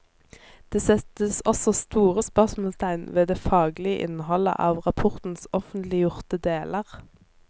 Det settes også store spørsmålstegn ved det faglige innholdet av rapportens offentliggjorte deler.